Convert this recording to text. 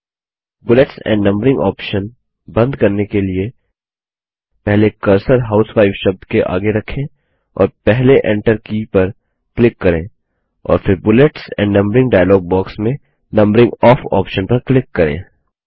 bullets and numbering option बंद करने के लिए पहले कर्सर हाउसवाइफ शब्द के आगे रखें और पहले एंटर की पर क्लिक करें और फिर bullets and numbering dialog box में नंबरिंग ओफ ऑप्शन पर क्लिक करें